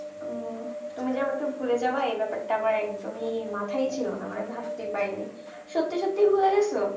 ও তুমি যে আমাকে ভুলে যাবে এই ব্যাপারটা আমার একদমই মাথায়ই ছিল না মানে আমি ভাবতে পারিনি সত্যি সত্যি ভুলে গেছো?